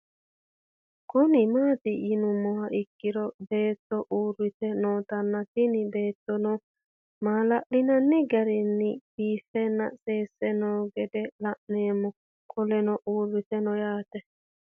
Kuni mati yinumoha ikiro beeto uurite nootana tini beetono malali'nani garin biifenna sese noo gede la'nemo qoleno uurite noo yaate